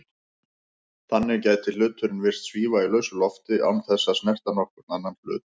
Þannig gæti hluturinn virst svífa í lausu lofti án þess að snerta nokkurn annan hlut.